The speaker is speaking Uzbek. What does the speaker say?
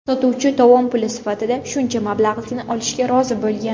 Sotuvchi tovon puli sifatida shuncha mablag‘ni olishga rozi bo‘lgan.